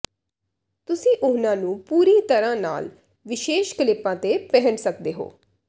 ਤੁਸੀਂ ਉਹਨਾਂ ਨੂੰ ਪੂਰੀ ਤਰ੍ਹਾਂ ਨਾਲ ਵਿਸ਼ੇਸ਼ ਕਲਿੱਪਾਂ ਤੇ ਪਹਿਨ ਸਕਦੇ ਹੋ